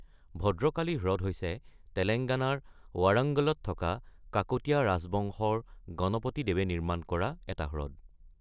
ভদ্ৰকালী হ্ৰদ হৈছে তেলেঙ্গানাৰ ৱাৰাঙ্গলত থকা কাকতীয়া ৰাজবংশৰ গণপতি দেৱে নিৰ্মাণ কৰা এটা হ্ৰদ।